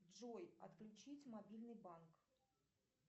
джой отключить мобильный банк